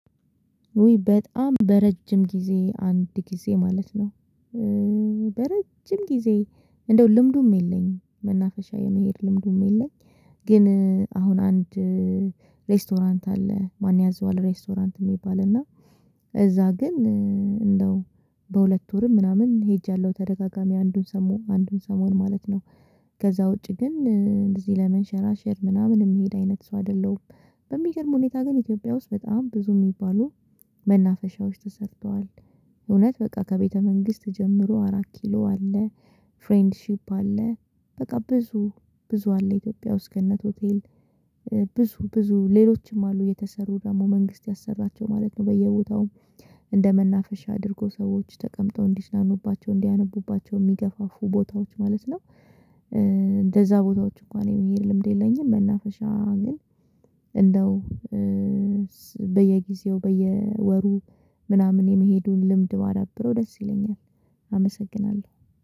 ውይ በጣም በረጅም ጊዜ አንድ ጊዜ ማለት ነው። በረጅም ጊዜ እንደው ልምዱም የለኝም መናፈሻ የመሄድ ልምዱም የለኝም። ግን አሁን አንድ ሬስቶራንት አለ ማን ያዘዋል ሬስቶራንት የሚባል እና እዚያ ግን እንደው በሁለት ወርም ምናምን ሄጃለሁ ተደጋጋሚ አንዱን ሰሞን አንዱን ሰሞን ማለት ነው። ከዚያ ውጪ ግን እንደዚህ ለመንሸራሸር ምናምን የምሄድ አይነት ሰው አይደለሁም። በሚገርም ሁኔታ ግን ኢትዮጵያ ውስጥ በጣም ብዙ የሚባሉ መናፈሻዎች ተሰርተዋል። እውነት በቃ ከቤተ መንግስት ጀምሮ አራት ኪሎ አለ። ፍሬንድሺፕ አለ። በቃ ብዙ ብዙ አለ ኢትዮጵያ ውስጥ ገነት ሆቴል ብዙ ብዙ ሌሎችም አሉ የተሰሩ ደግሞ መንግስት ያሰራቸው ማለት ነው። በየቦታውም እንደ መናፈሻ አድርጎ ሰዎች ተቀምጠው እንዲዝናኑባቸው እንዲያነቡባቸው የሚገፋፉ ቦታዎች ማለት ነው። እንደዚያ ቦታዎች እንኳን የሚሄድ ልምድ የለኝም። መናፈሻ ግን እንደው በየጊዜው በየወሩ ምናምን የመሄዱን ልምድ ባዳብረው ደስ ይለኛል። አመሰግናለሁ